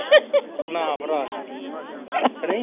ਨਾ ਭਰਾ ਨਾ ਕਿ ਨਹੀਂ